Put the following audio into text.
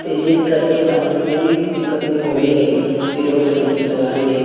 ਤੇ ਜਿਸ ਕਰਕੇ ਤੁਹਾਨੂੰ ਕੋਈ ਵੀ ਦਿੱਕਤ ਨਹੀਂ ਆਉਣੀ ਹੈਗੀ ਇਧਰੋਂ ਗੱਡੀ ਲੰਘਾਉਣ ਲਈ।